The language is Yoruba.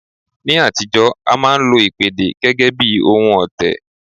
Ní àtijọ́, a máa ń lo ìpèdè gẹ́gẹ́ bí ohun ọ̀tẹ̀